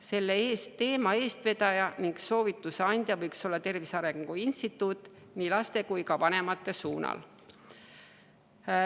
Selle teema eestvedaja ning soovituse andja võiks olla Tervise Arengu Instituut nii laste kui ka vanemate suunal.